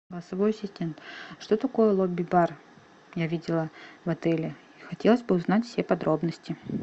голосовой ассистент что такое лобби бар я видела в отеле хотелось бы узнать все подробности